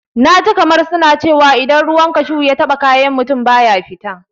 Na ji kamar suna cewa idan ruwan kashu ya taɓa kayan mutum, baya fita.